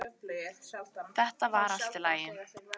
Þetta var allt í lagi